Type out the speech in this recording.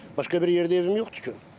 Başqa bir yerdə evim yoxdur ki.